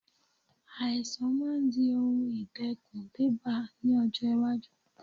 Àìsàn máa di ohun ìdẹ́kun débá ní ọjọ́ iwájú.